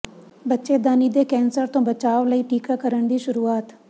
ਬੱਚੇਦਾਨੀ ਦੇ ਕੈਂਸਰ ਤੋਂ ਬਚਾਅ ਲਈ ਟੀਕਾਕਰਨ ਦੀ ਸ਼ੁਰੂਆਤ